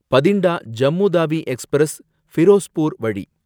Bathinda Jammu Tawi express Ferozepur வழி